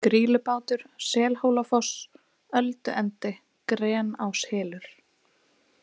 Grýlubátur, Selhólafoss, Ölduendi, Gráneshylur